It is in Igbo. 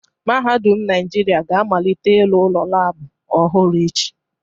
Mahadum Naijiria ga amalite ịlụ ụlọ laabụ ọhụrụ echi